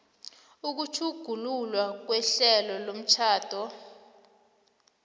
ukutjhugululwa kwehlelo lomtjhado